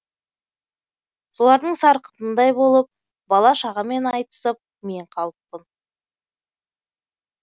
солардың сарқытындай болып бала шағамен айтысып мен қалыппын